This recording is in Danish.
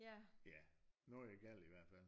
Ja noget er galt i hvert fald